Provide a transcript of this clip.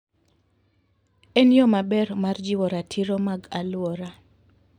En yo maber mar jiwo ratiro mag alwora.